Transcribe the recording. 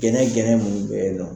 Jɛnɛ jɛnɛ mun be ye nɔ.